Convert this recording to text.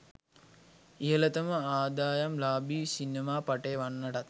ඉහළතම ආදායම් ලාභී සිනමාපටය වන්නටත්